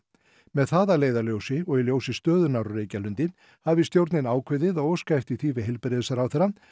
með það að leiðarljósi og í ljósi stöðunnar á Reykjalundi hafi stjórnin ákveðið að óska eftir því við heilbrigðisráðherra